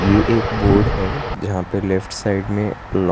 ये एक बोर्ड है जहां पे लेफ्ट साइड में लॉ --